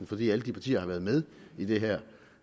fordi alle de partier har været med i det her